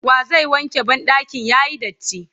wa zai wanke banɗakin yayi datti?